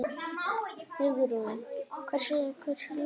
Hugrún: Hversu, hversu langt?